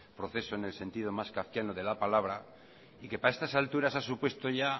proceso en el sentido más kafkiano de la palabra y que para estas alturas ha supuesto ya